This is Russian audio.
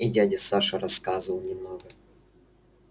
и дядя саша рассказывал немного